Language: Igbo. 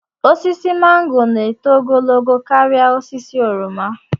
Osisi mango na-eto ogologo karịa osisi oroma